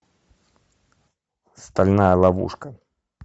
стальная ловушка